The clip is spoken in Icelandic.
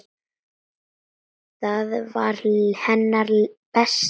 Hann var hennar besti félagi.